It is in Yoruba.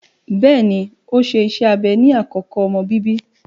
Bẹẹni, o ṣe ìṣe abẹ ni akoko omọ bíbí